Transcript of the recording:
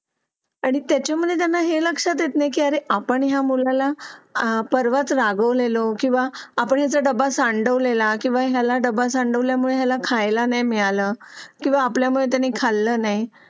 आणि त्याच्यामध्ये जर नाही हे लक्षात येत नाही की अरे आपण या मुलाला आह परवाच रागावलेलो किंवा आपल्या डबा सांडलेला किंवा याला डबल सांडल्यामुळेला खायला नाही मिळालं किंवा आपल्यामुळे खाल्लं नाही